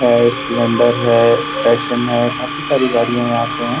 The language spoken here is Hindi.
है स्प्लेंडर है पैशन है काफी सारी गाड़ियां यहाँ पे हैं।